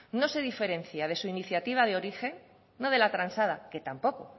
no se diferencia de su iniciativa de origen no de la transada que tampoco